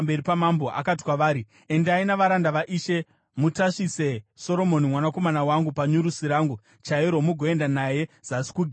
akati kwavari, “Endai navaranda vaishe, mutasvise Soromoni mwanakomana wangu panyurusi rangu chairo mugoenda naye zasi kuGihoni.